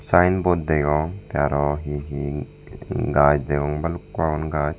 sign board degong tey aro he he gach degong balukko agon gach.